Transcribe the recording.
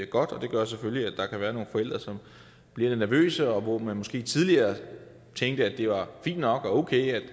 godt det gør selvfølgelig at der kan være nogle forældre som bliver lidt nervøse og hvor man måske tidligere tænkte at det var fint nok og okay